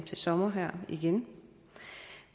til sommer igen